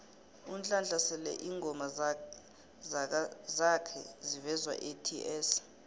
unhlanhla sele ingoma zakha zivezwaets